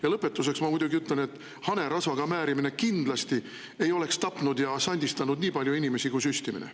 Ja lõpetuseks ma muidugi ütlen, et hanerasvaga määrimine kindlasti ei oleks tapnud ja sandistanud nii palju inimesi kui süstimine.